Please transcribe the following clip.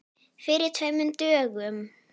Fyrir tveimur dögum?